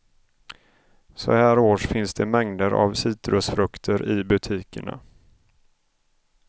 Så här års finns det mängder av citrusfrukter i butikerna.